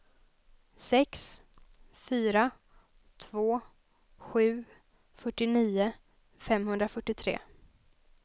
sex fyra två sju fyrtionio femhundrafyrtiotre